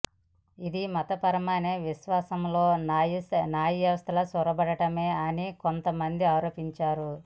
ఇది మతపరమైన విశ్వాసాల్లోకి న్యాయవ్యవస్థ చొరబడటమే అని కొంత మంది ఆరోపించారు